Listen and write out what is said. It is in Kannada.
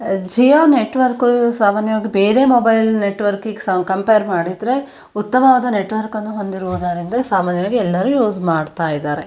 ಜಿಯೋ ನೆಟ್ವರ್ಕ್ ಸಾಮಾನ್ಯವಾಗಿ ಬೇರೆ ಮೊಬೈಲ್ ನೆಟ್ವರ್ಕ್ ಗೆ ಕಂಪೇರ್ ಮಾಡಿದ್ರೆ ಉತ್ತಮವಾದ ನೆಟ್ವರ್ಕ್ ಅನ್ನು ಹೊಂದಿರೋದ್ರಿಂದ ಸಾಮಾನ್ಯವಾಗಿ ಎಲ್ಲರು ಯೂಸ್ ಮಾಡತ್ತಾ ಇದಾರೆ.